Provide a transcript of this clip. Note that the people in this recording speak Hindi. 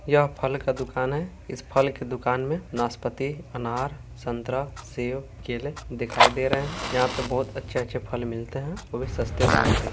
यह फल का दुकान है इस फल के दुकान में नाशपाती अनार संतरा सेब केले दिखाई दे रहे हैं यहाँ पे बहोत अच्छे-अच्छे फल मिलते हैं ओ भी सस्ते दाम पे।